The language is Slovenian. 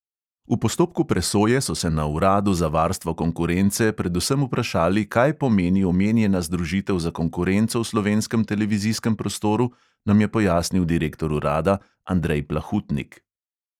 V postopku presoje so se na uradu za varstvo konkurence predvsem vprašali, kaj pomeni omenjena združitev za konkurenco v slovenskem televizijskem prostoru, nam je pojasnil direktor urada andrej plahutnik.